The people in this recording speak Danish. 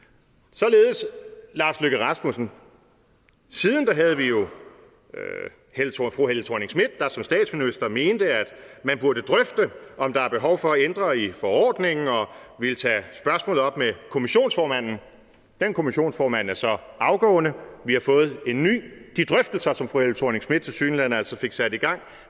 således lars løkke rasmussen siden havde vi jo fru helle thorning schmidt der som statsminister mente at man burde drøfte om der er behov for at ændre i forordningen og ville tage spørgsmålet op med kommissionsformanden den kommissionsformand er så afgående og vi har fået en ny de drøftelser som fru helle thorning schmidt tilsyneladende fik sat i gang